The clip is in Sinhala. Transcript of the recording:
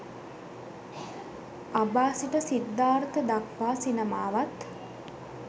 අබා සිට සිද්ධාර්ථ දක්වා සිනමාවත්